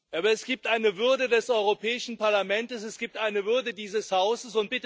Aber es gibt eine Würde des Europäischen Parlaments, es gibt eine Würde dieses Hauses.